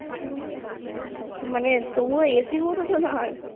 মানে তবুও AC এর মতো তো না আর